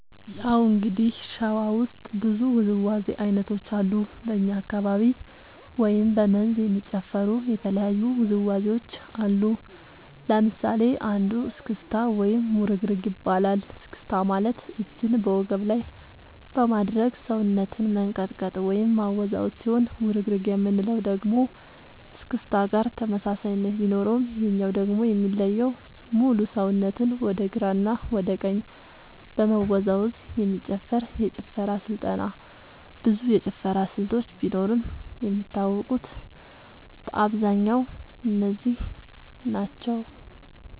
ያው እንግዲህ ሸዋ ውስጥ ብዙ ውዝዋዜ ዐይነቶች አሉ በኛ አካባቢ ወይም በ መንዝ የሚጨፈሩ የተለያዩ ውዝዋዜዎች አሉ ለምሳሌ አንዱ እስክታ ወይም ውርግርግ ይባላል እስክስታ ማለት እጅን በወገብ ላይ በማድረግ ሰውነትን መንቀጥቀጥ ወይም ማወዛወዝ ሲሆን ውርግርግ የምንለው ደግሞ እስክስታ ጋር ተመሳሳይነት ቢኖረውም ይሄኛው ደግሞ የሚለየው ሙሉ ሰውነትን ወደ ግራ እና ወደ ቀኝ በመወዛወዝ የሚጨፈር የጭፈራ ስልጠና ብዙ የጭፈራ ስልቶች ቢኖርም የሚታወቁት በአብዛኛው እነዚህ ናቸው።